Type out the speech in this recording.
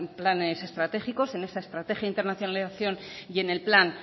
planes estratégicos en esa estrategia de internacionalización y en el plan